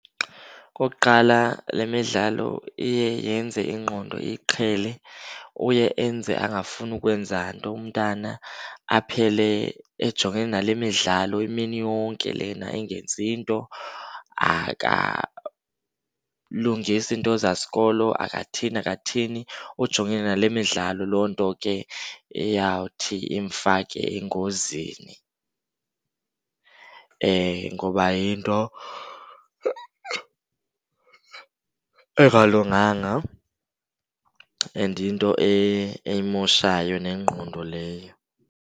Okokuqala, le midlalo iye yenze ingqondo iyiqhele, uye enze angafuni kwenza nto umntana, aphele ejongene nale midlalo imini yonke lena engenzi nto. Akalungisi iinto zasikolo, akathini akathini, ujongene nale midlalo. Loo nto ke eyawuthi imfake engozini, ngoba yinto engalunganga and yinto eyimoshayo nengqondo leyo.